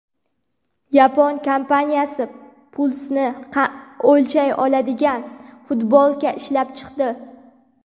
Yapon kompaniyasi pulsni o‘lchay oladigan futbolka ishlab chiqdi.